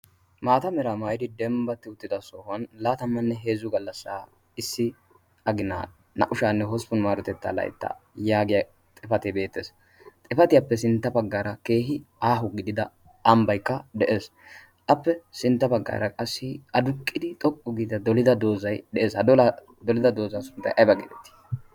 maata meraa maayidi dembbatti uttida sohuwan laatammanne heezzu gallassaa issi aginaa na77ushaanne hosppun maarotettaa laitta' yaagiya xifatee beettees. xifatiyaappe sintta paggaara keehi aahu gidida ambbaikka de7ees. appe sintta paggaara qassi aduqqidi xoqqu giida dolida doozai de7ees hadolaa dolida doozaa sunttai aiba geedettii?